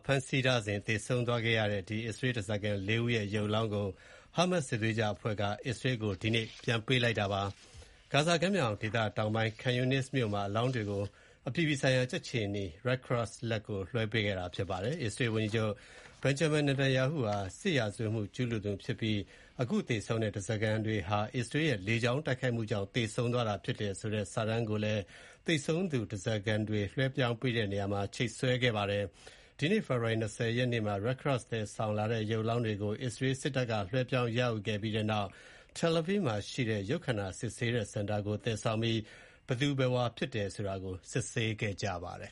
ဖမ်းဆီးထားစဥ်သေဆုံးသွားတဲ့ အစ္စရေးဓားစာခံ (၄) ဦးရဲ့ ရုပ်အလောင်းကို Hamas စစ်သွေးကြွအဖွဲ့က အစ္စရေးကို ဒီနေ့ ပြန်ပေးခဲ့ပါတယ်။ ဂါဇာကမ်းမြောင်ဒေသတောင်ပိုင်း Khan Younis မြို့မှာ အလောင်းတွေကို အပြည်ပြည်ဆိုင်ရာ ကြက်ခြေနီ Red Cross လက်ထဲ လွှဲပေးခဲ့တာဖြစ်ပါတယ်။ အစ္စရေးဝန်ကြီးချုပ် Benjamin Netanyahu ဟာ စစ်ရာဇဝတ်မှု ကျူးလွန်သူဖြစ်ပြီး ခုသေဆုံးတဲ့ ဓားစာခံတွေဟာ အစ္စရေးရဲ့ လေကြောင်းတိုက်ခိုက်မှုကြောင့် သေဆုံးသွားတာဖြစ်တယ်ဆိုတဲ့ စာတန်းကိုလည်း သေဆုံးသူဓားစာခံတွေ လွှဲပြောင်းပေးတဲ့နေရာမှာ ချိတ်ဆွဲထားပါတယ်။ ဒီကနေ့ ဖေဖေါ်ဝါရီ (၂၀) ရက်နေ့မှာ Red Cross သယ်ဆောင်လာတဲ့ ရုပ်အလောင်းတွေကို အစ္စရေးစစ်တပ်က လွှဲပြောင်း ရယူခဲ့ပြီးနောက် Tel Aviv မှာ ရှိတဲ့ ရုပ်ခန္ဓာစစ်ဆေးတဲ့ဌာနကို သယ်ဆောင်ပြီး ဘယ်သူဘယ်ဝါ ဖြစ်တယ်ဆိုတာကို စစ်ဆေးခဲ့ပါတယ်